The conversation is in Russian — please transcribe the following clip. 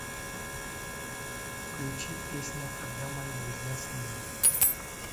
включи песня когда мои друзья со мной